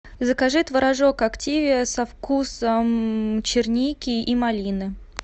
закажи творожок активиа со вкусом черники и малины